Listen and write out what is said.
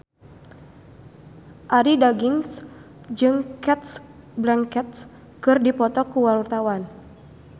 Arie Daginks jeung Cate Blanchett keur dipoto ku wartawan